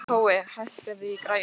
Tói, hækkaðu í græjunum.